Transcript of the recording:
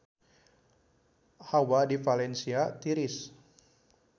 Hawa di Valencia tiris